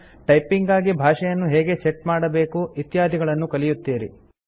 typing ಗಾಗಿ ಭಾಷೆಯನ್ನು ಹೇಗೆ ಸೆಟ್ ಮಾಡಬೇಕು ಇತ್ಯಾದಿಗಳನ್ನು ಕಲಿಯುತ್ತೀರಿ